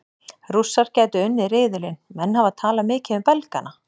Rússar gætu unnið riðilinn Menn hafa talað mikið um Belgana.